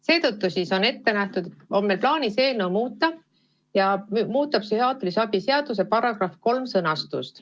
Seetõttu on meil plaanis eelnõu muuta, muutes psühhiaatrilise abi seaduse § 3 sõnastust.